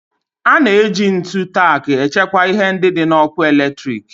A na-eji ntu tack echekwa ihe ndị dị n'ọkụ eletrik.